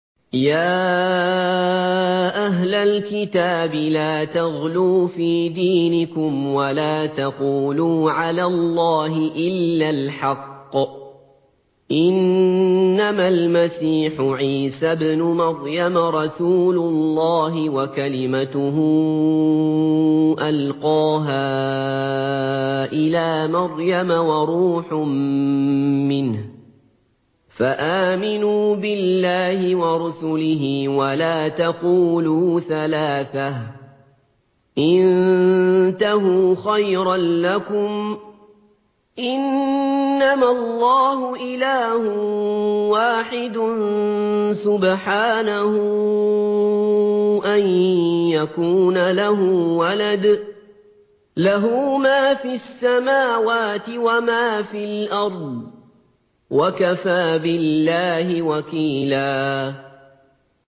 يَا أَهْلَ الْكِتَابِ لَا تَغْلُوا فِي دِينِكُمْ وَلَا تَقُولُوا عَلَى اللَّهِ إِلَّا الْحَقَّ ۚ إِنَّمَا الْمَسِيحُ عِيسَى ابْنُ مَرْيَمَ رَسُولُ اللَّهِ وَكَلِمَتُهُ أَلْقَاهَا إِلَىٰ مَرْيَمَ وَرُوحٌ مِّنْهُ ۖ فَآمِنُوا بِاللَّهِ وَرُسُلِهِ ۖ وَلَا تَقُولُوا ثَلَاثَةٌ ۚ انتَهُوا خَيْرًا لَّكُمْ ۚ إِنَّمَا اللَّهُ إِلَٰهٌ وَاحِدٌ ۖ سُبْحَانَهُ أَن يَكُونَ لَهُ وَلَدٌ ۘ لَّهُ مَا فِي السَّمَاوَاتِ وَمَا فِي الْأَرْضِ ۗ وَكَفَىٰ بِاللَّهِ وَكِيلًا